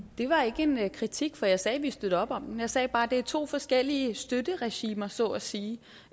det var ikke en kritik for jeg sagde at vi støtter op om den jeg sagde bare at det er to forskellige støtteregimer så at sige